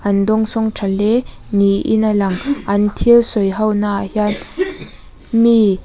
an dawngsawng tha hle niin a lang an thil sawi ho naah hian mi--